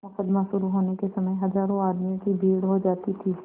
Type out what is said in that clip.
मुकदमा शुरु होने के समय हजारों आदमियों की भीड़ हो जाती थी